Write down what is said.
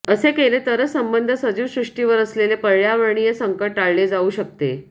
असे केले तरच सबंध सजीव सृष्टीवर असलेले पर्यावरणीय संकट टाळले जाऊ शकते